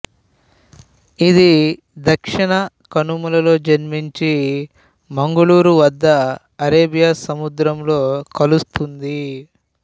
ఇది దక్షిణ కనుమలలో జన్మించి మంగుళూరు వద్ద అరేబియా సముద్రంలో కలుస్తుంది